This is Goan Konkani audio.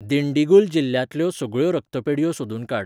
दिंडीगुल जिल्ल्यांतल्यो सगळ्यो रक्तपेढयो सोदून काड.